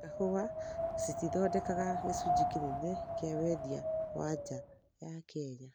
na kahũa cithondekaga gĩcunjĩ kĩnene kĩa wendia wa nja ya Kenya.